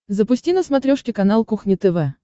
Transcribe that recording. запусти на смотрешке канал кухня тв